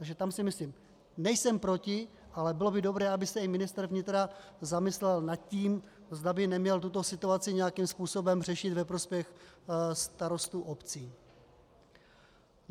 Takže tam si myslím, nejsem proti, ale bylo by dobré, aby se i ministr vnitra zamyslel nad tím, zda by neměl tuto situaci nějakým způsobem řešit ve prospěch starostů obcí.